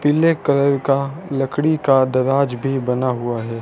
पीले कलर का लकड़ी का दराज भी बना हुआ है।